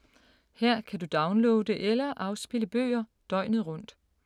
Her kan du downloade eller afspille bøger døgnet rundt.